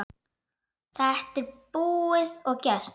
Þetta er búið og gert.